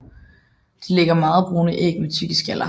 De lægger meget brune æg med tykke skaller